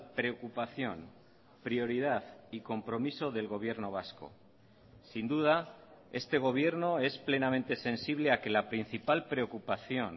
preocupación prioridad y compromiso del gobierno vasco sin duda este gobierno es plenamente sensible a que la principal preocupación